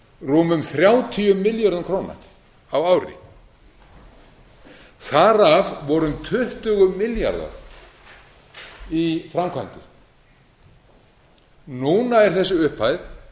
rúmum þrjátíu milljörðum króna á ári þar af voru um tuttugu milljarðar í framkvæmdir núna er þessi upphæð